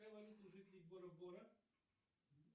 какая валюта у жителей бора бора